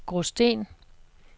Gråsten